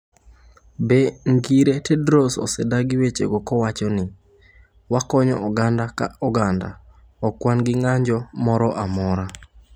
Be ngire Tedros osedagi wechego kowacho ni: ‘Wakonyo oganda ka oganda, ok wan gi ng’anjo moro amora’.